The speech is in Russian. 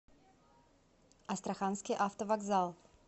астраханский автовокзал